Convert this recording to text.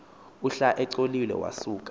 uhla iculoliwe wasuka